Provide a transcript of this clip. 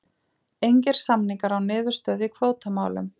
Engir samningar án niðurstöðu í kvótamálum